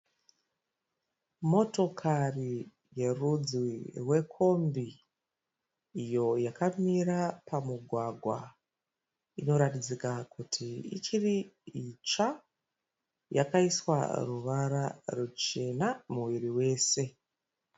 Motokari yerudzi rwekombi iyo yakamira pamugwagwa. Inoratidzika kuti ichiri itsva. Yakaiswa ruvara ruchena muviri wese.